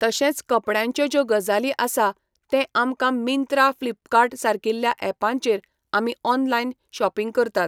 तशेंच कपड्यांच्यो ज्यो गजाली आसा ते आमकां मिंत्रा फ्लिपकार्ट सारकिल्या एपांचेर आमी ऑनलायन शॉपींग करतात.